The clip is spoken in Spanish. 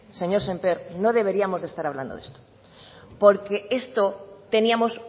señor sémper no deberíamos de estar hablando de esto porque esto teníamos